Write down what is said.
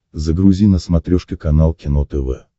загрузи на смотрешке канал кино тв